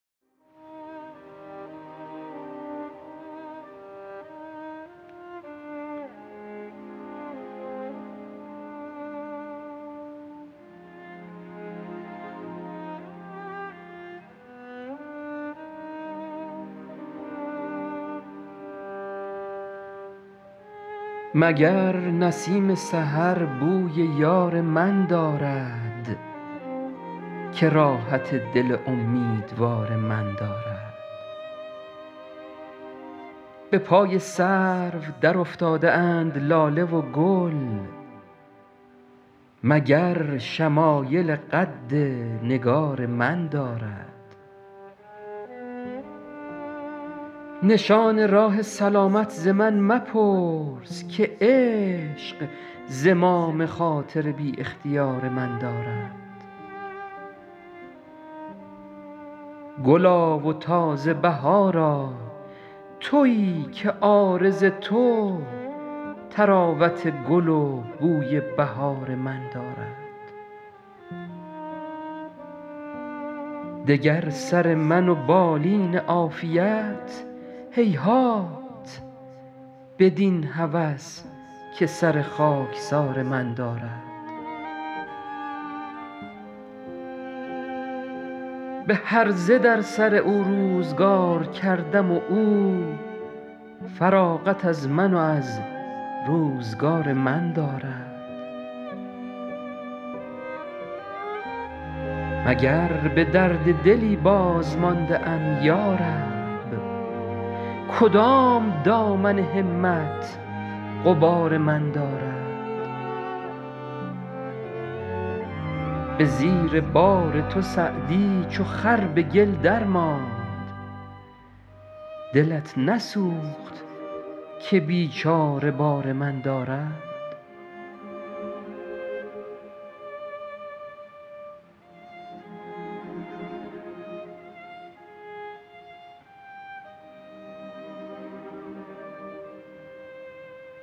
مگر نسیم سحر بوی یار من دارد که راحت دل امیدوار من دارد به پای سرو درافتاده اند لاله و گل مگر شمایل قد نگار من دارد نشان راه سلامت ز من مپرس که عشق زمام خاطر بی اختیار من دارد گلا و تازه بهارا تویی که عارض تو طراوت گل و بوی بهار من دارد دگر سر من و بالین عافیت هیهات بدین هوس که سر خاکسار من دارد به هرزه در سر او روزگار کردم و او فراغت از من و از روزگار من دارد مگر به درد دلی بازمانده ام یا رب کدام دامن همت غبار من دارد به زیر بار تو سعدی چو خر به گل درماند دلت نسوخت که بیچاره بار من دارد